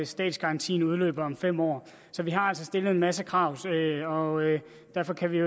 statsgarantien udløber om fem år vi har altså stillet en masse krav og derfor kan vi